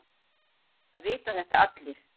Það vita þetta allir.